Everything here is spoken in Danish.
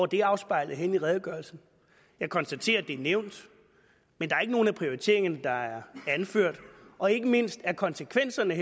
det afspejlet i redegørelsen jeg konstaterer at det er nævnt men der er ikke nogen af prioriteringerne der er anført og ikke mindst er konsekvenserne af